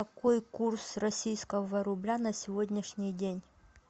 какой курс российского рубля на сегодняшний день